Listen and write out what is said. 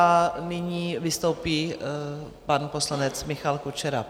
A nyní vystoupí pan poslanec Michal Kučera.